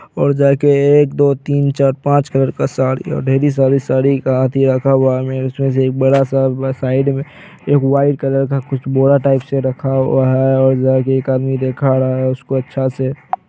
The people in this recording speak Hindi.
और जा के एक दो तीन चार पांच कलर का साड़ी है ढेरी सारी साड़ी रखा हुआ है। उसमें से एक बड़ा-सा साइड में एक वाईट कलर का बोरा टाइप - सा रखा हुआ है। और जा के एक आदमी दिखा रहा है उसको अच्छा से ।